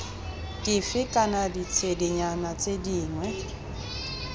dife kana ditshedinyana tse dingwe